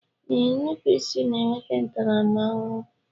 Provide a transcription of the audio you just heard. Ee, nnupụisi na-enweta ntaramahụhụ